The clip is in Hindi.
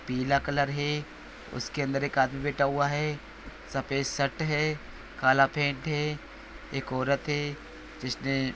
पीला कलर है उसके अंदर एक आदमी बैठा हुआ है सफ़ेद शर्ट है काला पैंट है एक औरत है जिसने--